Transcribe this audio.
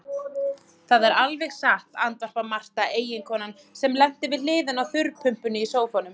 Það er alveg satt, andvarpar Marta, eiginkonan sem lenti við hliðina á þurrpumpunni í sófanum.